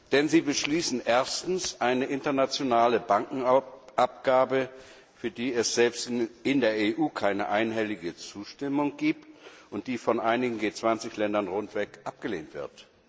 Denn Sie beschließen erstens eine internationale Bankenabgabe, für die es selbst in der EU keine einhellige Zustimmung gibt und die von einigen G 20 Ländern rundweg abgelehnt wird.